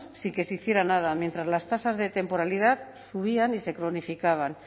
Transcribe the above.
sin que se hiciera nada mientras las tasas de temporalidad subían y se cronificaban